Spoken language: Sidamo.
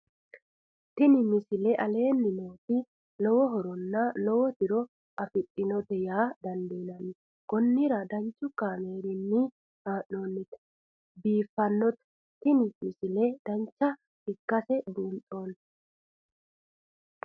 misile tini aleenni nooti lowo horonna lowo tiro afidhinote yaa dandiinanni konnira danchu kaameerinni haa'noonnite biiffannote tini misile dancha ikkase buunxanni